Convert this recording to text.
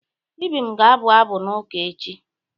Ibim ga-abụ abụ n'ụka echi.